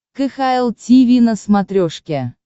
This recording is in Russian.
кхл тиви на смотрешке